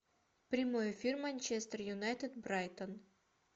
прямой эфир манчестер юнайтед брайтон